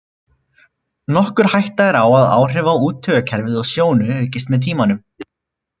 Nokkur hætta er á að áhrif á úttaugakerfið og sjónu aukist með tímanum.